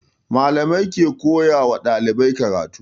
Malamai ke koya wa ɗalibai karatu